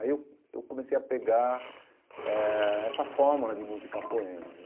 Aí eu eu comecei a pegar eh essa fórmula de musicar poemas.